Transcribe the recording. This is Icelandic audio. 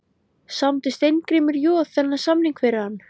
Samdi Steingrímur Joð þennan samning fyrir hann?